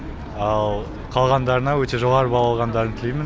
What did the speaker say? ал қалғандарына өте жоғары балл алғандарын тілеймін